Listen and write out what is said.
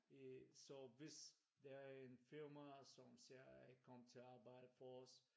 I så hvis der er en fyrer mig som siger jeg ikke kommer til at arbejde for os